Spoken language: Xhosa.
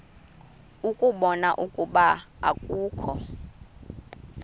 ukubona ukuba akukho